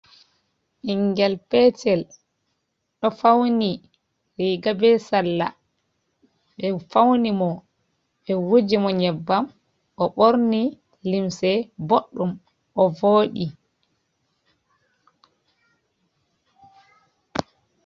Bingel petel do fauni riga be salla be fauni mo be wuji mo nyebbam o borni limse boɗdum o vodi.